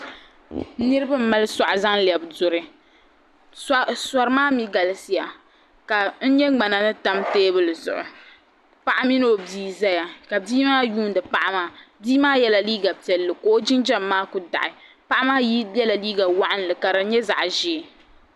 Niriba n mali suɣa n zaŋ lɛbi duri suɣa maa mi galisiya ka n yɛ ŋmana ni tam tɛɛbuli zuɣu paɣa mini o bia n zaya ka bia maa yuundi paɣi maa bii maa yiɛla liiga piɛlli ka o jinjam maa kuli daɣi paɣi maa yiɛla liiga wɔɣinnli ka di yɛ zaɣi zɛɛ.